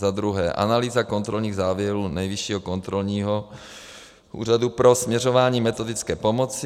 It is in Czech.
Za druhé analýza kontrolních závěrů Nejvyššího kontrolního úřadu pro směřování metodické pomoci.